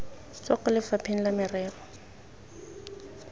tswa kwa lefapheng la merero